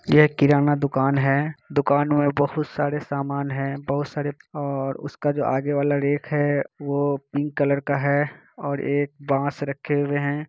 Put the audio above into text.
ये किरना दुकान हैं दुकान मे बहुत सारे समान हैं बहुत सारे और उसके जो आगे रैंक हैं वो पिंक कलर का हैं और एक बांस रखे हुए हैं।